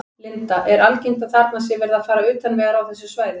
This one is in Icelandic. Linda: Er algengt að þarna sé verið að fara utan vegar á þessu svæði?